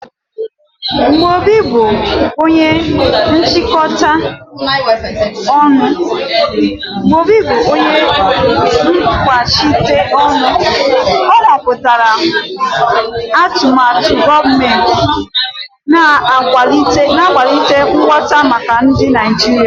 Mgbe Obi bụ onye nkwuchite ọnụ, o kwupụtara atụmatụ gọọmentị, na-akwalite nghọta maka ndị Naijiria.